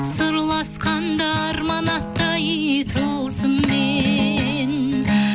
сырласқанда арман аттай тылсыммен